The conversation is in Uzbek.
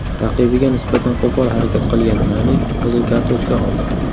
Raqibiga nisbatan qo‘pol harakat qilgan Nani qizil kartochka oldi.